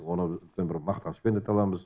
оны үлкен бір мақтанышпен айта аламыз